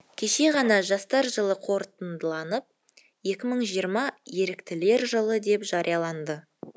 кеше ғана жастар жылы қорытындыланып екі мың жиырма еріктілер жылы деп жарияланды